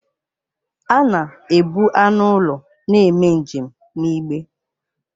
A na ebu anụ ụlọ na-eme njem n'igbe.